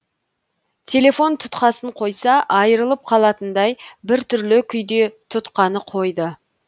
телефон тұтқасын қойса айырылып қалатындай біртүрлі күйде тұтқаны қойды